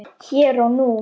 Hér og nú.